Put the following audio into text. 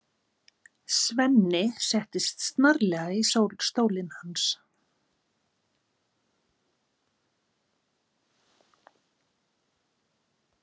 Svenni settist snarlega í stólinn hans.